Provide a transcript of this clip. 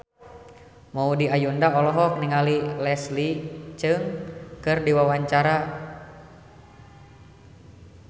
Maudy Ayunda olohok ningali Leslie Cheung keur diwawancara